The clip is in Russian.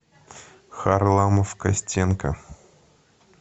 харламов костенко